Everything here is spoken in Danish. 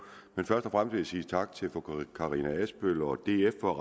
men først og jeg sige tak til fru karina adsbøl og df for